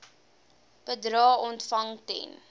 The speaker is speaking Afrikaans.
bedrae ontvang ten